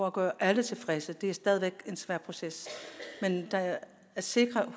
at gøre alle tilfredse og det er stadig væk en svær proces men at sikre